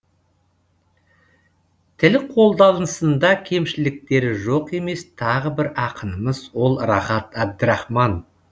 тіл қолданысында кемшіліктері жоқ емес тағы бір ақынымыз ол рахат әбдірахман